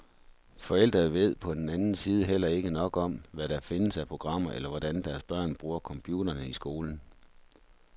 Forældre ved på den anden side heller ikke nok om, hvad der findes af programmer eller hvordan deres børn bruger computerne i skolen.